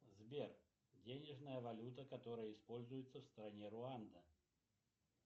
сбер денежная валюта которая используется в стране руанда